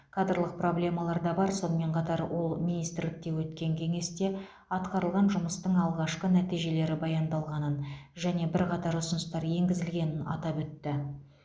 кадрлық проблемалар да бар сонымен қатар ол министрлікте өткен кеңесте атқарылған жұмыстың алғашқы нәтижелері баяндалғанын және бірқатар ұсыныстар енгізілгенін атап өтті